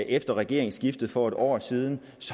efter regeringsskiftet for en år siden